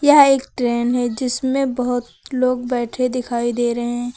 यह एक ट्रेन है जिसमें बहोत लोग बैठे दिखाई दे रहे हैं।